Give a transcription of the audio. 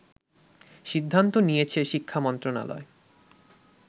সিদ্ধান্ত নিয়েছে শিক্ষা মন্ত্রণালয়